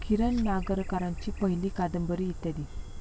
किरण नागरकरांची पहिली कादंबरी इत्यादी.